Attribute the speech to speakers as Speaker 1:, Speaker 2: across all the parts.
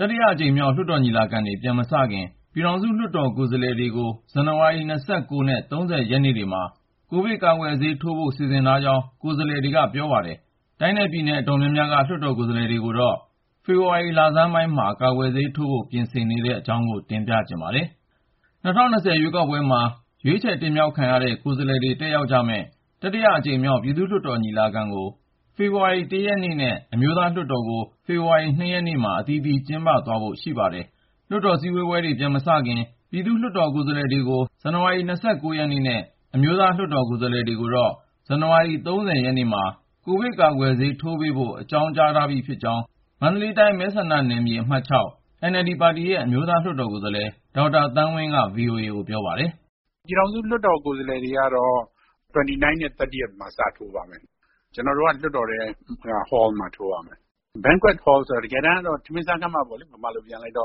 Speaker 1: တတိယအကြိမ်မြောက် လွှတ်တော်ညီလာခံတွေ ပြန်မစခင် ပြည်ထောင်စု လွှတ်တော်ကိုယ်စားလှယ်တွေကို ဇန်နဝါရီ ၂၉ နဲ့ ၃၀ ရက်နေ့တွေမှာ ကိုဗစ်ကာကွယ်ဆေး ထိုးဖို့ စီစဉ်ထားကြောင်း ကိုယ်စားလှယ်တွေက ပြောပါတယ်။ တိုင်းနဲ့ ပြည်နယ် အတော်များများက လွှတ်တော်ကိုယ်စားလှယ်တွေကိုတော့ ဖေဖေါ်ဝါရီလဆန်းပိုင်းမှာ ကာကွယ်ဆေးထိုးပေးဖို့ ပြင်ဆင်နေတဲ့ အကြောင်း ကိုဉာဏ်ဝင်းအောင်က တင်ပြထားပါတယ်။ ၂၀၂၀ ရွေးကောက်ပွဲမှာ ရွေးချယ်တင်မြှောက်ခံရတဲ့ ကိုယ်စားလှယ်တွေ တက်ရောက်ကြမယ့် တတိယမြောက် ပြည်သူ့လွှတ်တော် ညီလာခံကို ဖေဖေါ်ဝါရီ (၁)ရက်နေ့နဲ့ အမျိုးသားလွှတ်တော်ကို ဖေဖေါ်ဝါရီ (၂)ရက်နေ့မှာ အသီးသီး ကျင်းပသွားဖို့ ရှိပါတယ်။ လွှတ်တော်စည်းဝေးပွဲတွေ ပြန်မစခင် ပြည်သူ့လွှတ်တော် ကိုယ်စားလှယ်တွေကို ဇန်နဝါရီ ၂၉ ရက်နေ့နဲ့ အမျိုးသား လွှတ်တော်ကိုယ်စားလှယ်တွေကိုတော့ ဇန်နဝါရီ ၃၀ ရက်နေ့မှာ ကိုဗစ် ကာကွယ်ဆေး ထိုးပေးဖို့ အကြောင်းကြားထားပြီဖြစ်ကြောင်း မန္တလေးတိုင်း မဲဆန္ဒနယ်မြေ အမှတ်(၆) NLD ပါတီရဲ့ အမျိုးသားလွှတ်တော်ကိုယ်စားလှယ် ဒေါက်တာ သန်းဝင်းက VOA ကို ပြောပါတယ်
Speaker 2: ။ “ ပြည်ထောင်စုလွှတ်တော် ကိုယ်စားလှယ်တွေကတော့ (၂၉)(၃၀)မှာ စထိုးပါမယ်။ ကျနော်တို့က လွှတ်တော်ထဲက ဟောခန်းတခုမှာ ထိုးရမှာ။ Banquet Hall ဆိုတာ ဗမာလိုဆိုရင်တော့ ထမင်းစားဆောင်ပေါ့ ၊ အဲဒီနေရာက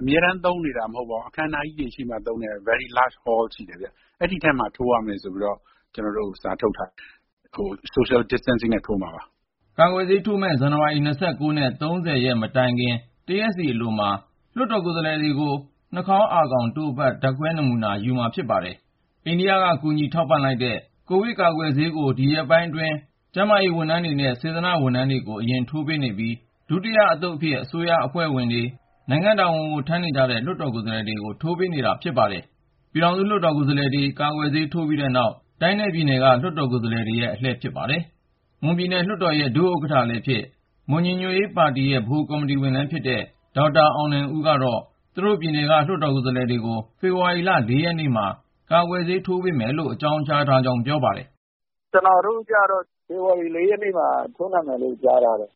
Speaker 2: အမြဲတမ်း သုံးနေတာတော့ မဟုတ်ဘူးပေါ့ ၊ အခမ်းအနားကြီးတွေရှိမှသာ သုံးတဲ့ အရမ်းကြီးတဲ့ ခန်းမကြီးပေါ့။ အဲဒီထဲမှာ သွားထိုးရမယ်ဆိုပြီး ကျနော်တို့ကို စာထုတ်ထားတယ်။ ခပ်ခွာခွာ တန်းစီကြပြီး ထိုးမ
Speaker 1: ှာပါ။” ကာကွယ်ဆေးထိုးမယ့် ဇန်နဝါရီ ၂၉ နဲ့ ၃၀ မတိုင်ခင် တရက်စီအလိုမှာ လွှတ်တော်ကိုယ်စားလှယ်တွေကို Swab test နှာခေါင်းအာခေါင်တို့ဖတ် ဓါတ်ခွဲနမူနာ ယူဖို့ သတ်မှတ်ထားပါတယ်။ အိန္ဒိယက ကူညီထောက်ပံ့လိုက်တဲ့ CoviShield ( Astrazeneca ) ကာကွယ်ဆေးတွေကို ဒီ ရက်ပိုင်းအတွင်းမှာပဲ ကိုဗစ်လူနာ ကုသကာကွယ်နေရတဲ့ ကျန်းမာရေးဝန်ထမ်းတွေနဲ့ စေတနာ့ဝန်ထမ်းတွေကို အရင် ထိုးပေးနေပြီး ဒုတိယအသုတ်အဖြစ် အစိုးရအဖွဲ့ဝင်တွေ ၊ နိုင်ငံ့တာဝန်ကို ထမ်းနေရတဲ့ လွှတ်တော်ကိုယ်စားလှယ်တွေကို ထိုးပေးတာ ဖြစ်ပါတယ်။ ပြည်ထောင်စုလွှတ်တော် ကိုယ်စားလှယ်တွေ ကာကွယ်ဆေး ထိုးပြီးတဲ့နောက် တိုင်းနဲ့ပြည်နယ် လွှတ်တော်က ကိုယ်စားလှယ်တွေရဲ့ အလှည့်လို့ သိရပါတယ်။ မွန်ပြည်နယ် လွှတ်တော်ရဲ့ ဒုဥက္ကဌလည်းဖြစ် ၊ မွန်ညီညွတ်ရေးပါတီ MUP ဗဟိုကော်မတီဝင်တဦးဖြစ်တဲ့ ဒေါက်တာ အောင်နိုင်ဦးကတော့ သူတို့ပြည်နယ်က လွှတ်တော်ကိုယ်စားလှယ်တွေကို ဖေဖေါ်ဝါရီ (၄)ရက်နေ့မှာ ကာကွယ်ဆေး ထိုးပေးမယ်လို့ အကြောင်းကြားထားကြောင်း ပြောပါတယ်
Speaker 3: ။ “ ကျနော်တို့ကျတော့ ဖေဖေါ်ဝါရီ ၄ ရက်နေ့မှာ ထိုးနှံမယ်လို့ ကြားထားတယ်။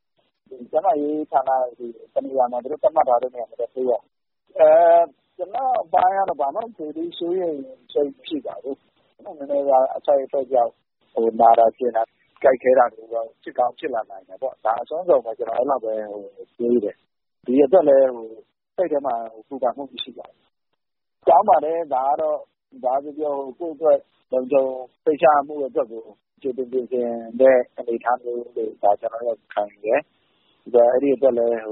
Speaker 3: ကျန်းမာရေးဌာနက သူတို့ သတ်မှတ်ထားတဲ့ တနေရာမှာ သွားထိုးရမှာပေါ့ ။ ဒီလို ဆေးထိုးဖို့ ကျနော့်အတွက်တော့ ဘာမှ စိုးရိမ်စိတ် မရှိပါဘူး။ ဆေးထိုးပြီးရင် နည်းနည်းပါးပါး အထိုက်အလျောက် နာတာကျင်တာ ကိုက်ခဲတာမျိုးတော့ ဖြစ်ကောင်းဖြစ်လာနိုင်တယ်ပေါ့။ ဒါက အစွမ်းကုန်ပဲလေ။ ဒီအတွက်လည်း စိတ်ထဲ ပူပန်မှု မရှိပါဘူး။ ကောင်းပါတယ် ဒါက ကိုယ့်အတွက် လုံခြုံစိတ်ချရဖို့ ကြိုတင်ပြင်ဆင်ပေးတဲ့ အနေအထားလို့ ကျနော် ခံယူပါတယ်။ အဲဒီအတွက်လည်း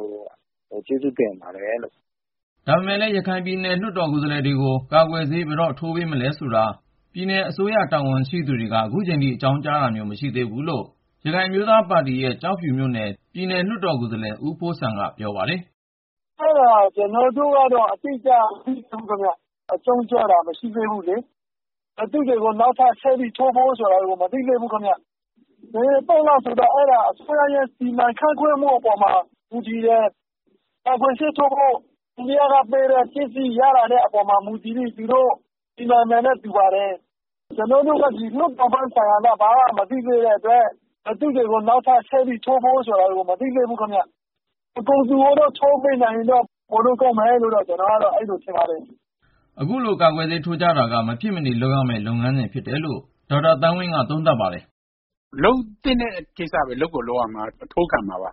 Speaker 3: ကျေးဇူးတင်ပါတ
Speaker 1: ယ်။” ဒါပေမယ့်လည်း ရခိုင်ပြည်နယ် လွှတ်တော်ကိုယ်စားလှယ်တွေကို ကာကွယ်ဆေး ဘယ်တော့ ထိုးပေးမလဲဆိုတာ ပြည်နယ်အစိုးရ တာဝန်ရှိသူတွေက ခုချိန်ထိ အကြောင်းကြားတာမျိုး မရှိသေးဘူးလို့ ရခိုင်အမျိုးသားပါတီ ANP ရဲ့ ကျောက်ဖြူမြို့နယ် ပြည်နယ်လွှတ်တော်ကိုယ်စားလှယ် ဦးဖိုးစံက ပြောပါတယ်
Speaker 4: ။ “ ကျနော်တို့ကတော့ အတိအကျ မသိရသေးဘူးခင်ဗျ။ အကြောင်းကြားလာတာ မရှိသေးဘူးလေ။ ဘယ်သူတွေကို ဆက်ပြီးထိုးမလဲဆိုတာ မသိသေးဘူး ခင်ဗျ။ ဘယ်အသုတ်ကျမှ ထိုးရမယ်ဆိုတာက အစိုးရရဲ့ စီမံခန့်ခွဲမှုအပေါ် မူတည်ပါတယ်။ ကာကွယ်ဆေးထိုးဖို့ အိန္ဒိယပေးတဲ့ဆေး ရလာတဲ့အပေါ်မှာ မူတည်ပြီး သူတို့ စီမံမယ်နဲ့တူပါတယ်။ ကျနော်တို့ကျတော့ ဒီလွှတ်တော်ပိုင်းဆိုင်ရာက ဘာမှ မသိရသေးတဲ့အတွက် ဘယ်သူတွေကို နောက်ထပ် ထိုးပေးမလဲဆိုတာ မသိသေးဘူးခင်ဗျ။ အကုန်လုံးကို ထိုးပေးနိုင်ရင်တော့ ပိုလို့ ကောင်းမယ်လို့တော့ ထင်ပါတယ်။”
Speaker 1: ဒီလို ကာကွယ်ဆေးထိုးကြတာကတော့ မဖြစ်မနေ လုပ်ရမယ့် လုပ်ငန်းစဉ် ဖြစ်တယ်လို့ အမျိုးသားလွှတ်တော်ကိုယ်စားလှယ် ဒေါက်တာ သန်းဝင်းက သုံးသပ်ပါတယ်။ “လုပ်သင့်တဲ့ကိစ္
Speaker 2: စပဲလေ လုပ်ကိုလုပ်ရမှာဆိုတော့ ကျနော်တို့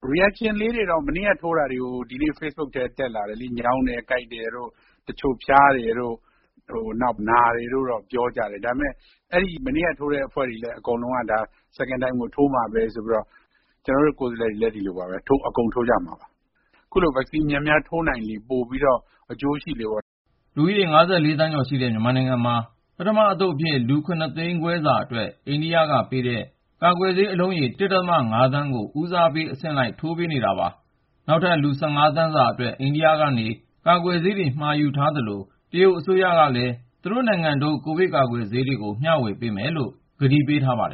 Speaker 2: အထိုးခံမှာပါ။ ဆေးထိုးပြီးသူတွေဆီမှာ တုန့်ပြန်မှုကတော့ ညောင်းတယ် ကိုက်တယ်တို့ တချို့ဖျားတယ်တို့ နာတယ်လို့တော့ ဖေ့စ်ဘွတ်ပေါ် ရေးကြတယ်။ ဒါပေမယ့် မနေ့က ထိုးတဲ့အဖွဲ့တွေကလည်း ဒုတိယ ဆေးတလုံးကို ဆက်ထိုးမှာပဲဆိုပြီး အကုန်လုံးက ပြောနေကြတယ်။ ကျနော်တို့ ကိုယ်စားလှယ်တွေလည်း ဒီလိုပါပဲ အကုန်လုံး ထိုးကြမှာပါ။ အခုလို ကာကွယ်ဆေး များများ ထိုးနိုင်လေလေ အကျိုးရှိလေပေါ့ ။”
Speaker 1: လူဦးရေ (၅၄)သန်းကျော်ရှိတဲ့ မြန်မာနိုင်ငံမှာ ပထမအသုတ်အဖြစ် လူ(၇ သိန်းခွဲ)စာအတွက် အိန္ဒိယကပေးတဲ့ ကာကွယ်ဆေး အလုံးရေ(၁.၅)သန်းကို ဦးစားပေးအဆင့်လိုက် အသုတ်ခွဲပြီး ထိုးပေးနေတာပါ။ နောက်ထပ် လူ(၁၅)သန်းစာအတွက် အိန္ဒိယက ကိုဗစ်ကာကွယ်ဆေးတွေ ဝယ်ယူဖို့ မြန်မာအစိုးရက မှာထားသလို၊ တရုတ်အစိုးရကလည်း သူတို့နိုင်ငံထုတ် ကိုဗစ်ကာကွယ်ဆေးတွေ ဝေမျှ ပေးမယ်လို့ ကတိပေးထားပါတယ်